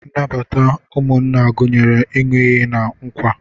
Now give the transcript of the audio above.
Nnabata ụmụnna gụnyere ịn̄ụ iyi na nkwa.